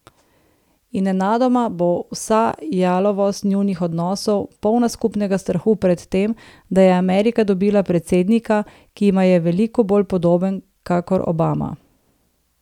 In nenadoma bo vsa jalovost njunih odnosov polna skupnega strahu pred tem, da je Amerika dobila predsednika, ki jima je veliko bolj podoben kakor Obama.